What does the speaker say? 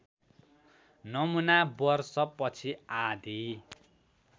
नमुना वर्षपछि आधी